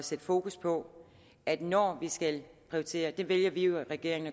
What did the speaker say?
sætte fokus på at når vi skal prioritere og det vælger vi i regeringen